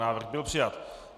Návrh byl přijat.